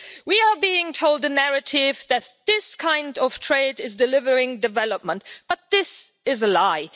We are being told the narrative that this kind of trade is delivering development, but this is a lie.